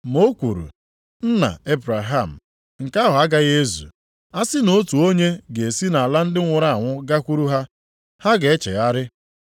“Ma o kwuru, ‘Nna Ebraham, nke ahụ agaghị ezu! A sị na otu onye ga-esi nʼala ndị nwụrụ anwụ gakwuru ha, ha ga-echegharị.’